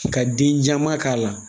Ka denjaman k'a la